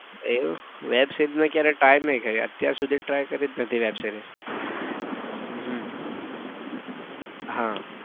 એવું web series મેં try જ નઈ કરી અત્યાર સુધી try કરી જ નથી web series હમ આહ